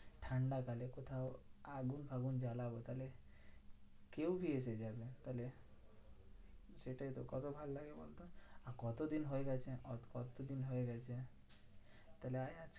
ঠান্ডা কালে কোথাও আগুন ফাগুন জ্বালাবো তাহলে কেউ কি এসে যাবে? তাহলে সেটাইতো কত ভালো লাগে বলতো। কতদিন হয়ে গেছে? কত দিন হয়ে গেছে। তাহলে আয়